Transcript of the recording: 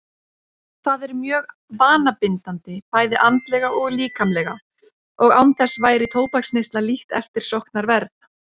Það er mjög vanabindandi bæði andlega og líkamlega og án þess væri tóbaksneysla lítt eftirsóknarverð.